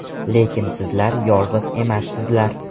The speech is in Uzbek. Lekin sizlar yolg‘iz emassizlar.